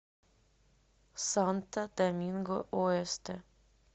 санто доминго оэсте